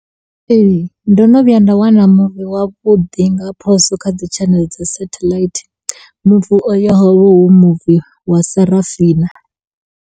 Ee, ndo no vhuya nda wana muvi wa vhuḓi nga phoso kha dzi tshaneḽe dza sathelaithi, muvi uyo ho vha hu muvi wa Sarafina.